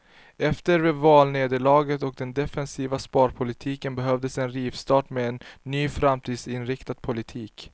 Efter valnederlaget och den defensiva sparpolitiken behövdes en rivstart med en ny och framtidsinriktad politik.